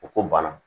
U ko bana